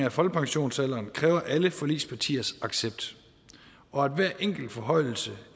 af folkepensionsalderen kræver alle forligspartiers accept og at hver enkelt forhøjelse